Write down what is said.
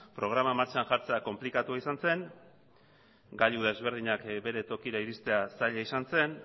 programa martxan jartzea konplikatua izan zen gailu desberdinak bere tokira iristea zaila izan zen